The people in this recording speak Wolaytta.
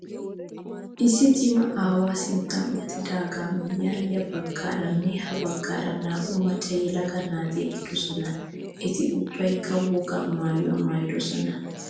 Issi cima aawayi sinttan uttidaagaa miyyiyan ya baaggaaranne ha baggaara naa''u macca yelaga naati eqqidosona. Eti ubbayikka wogaa maayyuwaa maayyidosona.